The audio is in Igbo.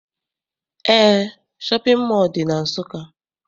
Eé, shọpịn mọọ dị na Nsụka.